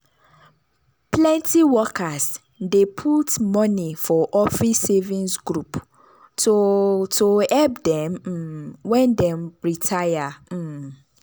plenty workers dey put money for office savings group to to help dem um when dem retire. um